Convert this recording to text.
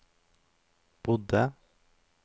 bodde